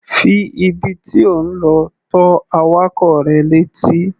Fi ibi tí ò ń lọ tó awakọ̀ rẹ létí.